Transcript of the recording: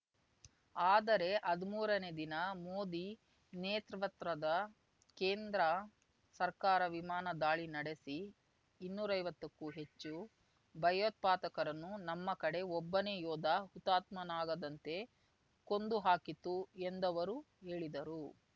ಆದರೆ ಹದ್ಮೂರ ನೇ ದಿನ ಮೋದಿ ನೇತೃತ್ವದ ಕೇಂದ್ರ ಸರ್ಕಾರ ವಿಮಾನ ದಾಳಿ ನಡೆಸಿ ಇನ್ನೂರೈವತ್ತಕ್ಕೂ ಹೆಚ್ಚು ಭಯೋತ್ಪಾದಕರನ್ನು ನಮ್ಮ ಕಡೆ ಒಬ್ಬನೇ ಯೋಧ ಹುತಾತ್ಮನಾಗದಂತೆ ಕೊಂದು ಹಾಕಿತು ಎಂದವರು ಹೇಳಿದರು